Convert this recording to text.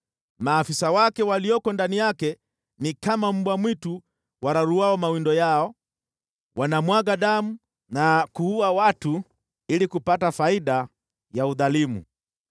Maafisa wake walioko ndani yake ni kama mbwa mwitu wararuao mawindo yao, wanamwaga damu na kuua watu ili kupata faida ya udhalimu.